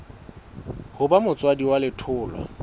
ho ba motswadi wa letholwa